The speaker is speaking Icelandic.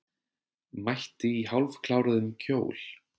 Mætti í hálfkláruðum kjól